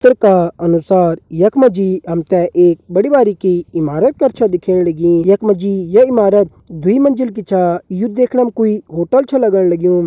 चित्र का अनुसार यख मा जी हम ते एक बड़ी बारिकी इमारत कर छ दिखेण लगीं यख मा जी ये इमारत दुई मंजिल की छा यू देखणा मा कुई होटल छ लगण लग्युं।